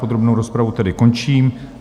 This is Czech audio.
Podrobnou rozpravu tedy končím.